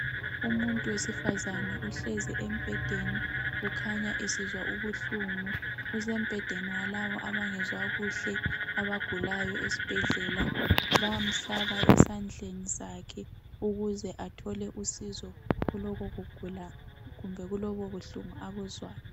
Umuntu wesifazane uhlezi embhedeni ukhanya esizwa ubuhlungu Usembhedeni walabo abangezwa kuhle abagulayo esibhedlela Bayamhlaba esandleni sakhe ukuze athole usizo kulokhu kugula kumbe kulobubuhlungu abuzwayo